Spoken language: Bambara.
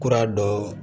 Kura dɔ